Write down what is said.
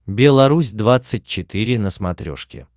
белорусь двадцать четыре на смотрешке